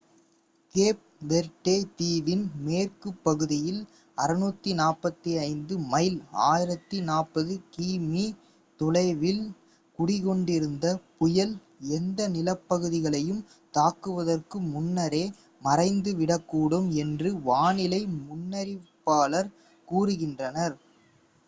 gap Verde தீவின் மேற்குப் பகுதியில் 645 மைல் 1040 கிமீ தொலைவில் குடிகொண்டிருந்த புயல் எந்த நிலப்பகுதிகளையும் தாக்குவதற்கு முன்னரே மறைந்துவிடக்கூடும் என்று வானிலை முன்னறிவிப்பாளர்கள் கூறுகின்றனர்